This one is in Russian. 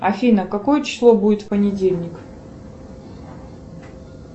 афина какое число будет в понедельник